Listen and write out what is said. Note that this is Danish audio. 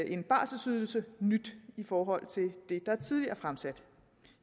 en barselydelse nyt i forhold til det der tidligere er fremsat